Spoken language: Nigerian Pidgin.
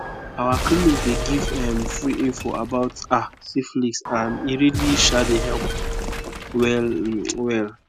our clinic dey give um free info about ah syphilis and e really um dey help well um well